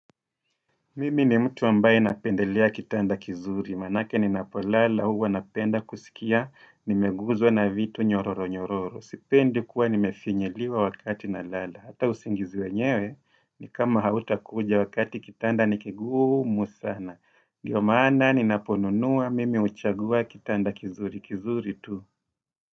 Mimi ni mtu ambaye napendelea kitanda kizuri, manake ninapolala huwa napenda kusikia, nimeguzwa na vitu nyororo nyororo, sipendi kuwa nimefinyiliwa wakati nalala, hata usingizi wenyewe ni kama hautakuja wakati kitanda ni kigumu sana, ndio maana ninaponunua, mimi huchagua kitanda kizuri, kizuri tu.